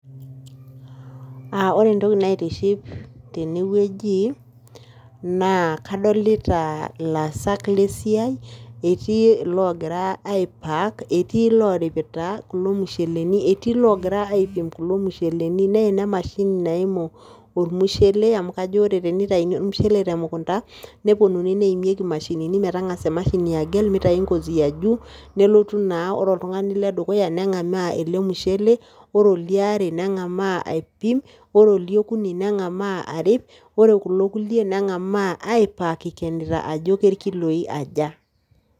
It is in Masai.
Aa ore entoki naitiship tene wueji naa kadolita laasak le siai etii ilogira aipack, etii lloripita kulo musheleni, etii loogira aipim kulo musheleni. Neina emashini naimu ormushele amu kajo ore tenitayuni ormushele te mukunda, neponunui neimieki imashinini metang'asa emashini agel mitayu ng'ozi ya juu, nelotu naa ore oltung'ani le dukuya neng'amaa ele mushele, ore oliare neng'amaa aipim, ore oliokuni neng'amaa arip, ore kulo kuliek neng'amaa aipack ikenita ajo ke irkiloi aja.